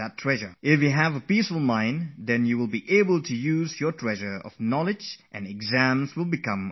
If you have a peaceful mind, then that treasure of yours is going to surface to the top and your exam will turn so very simple for you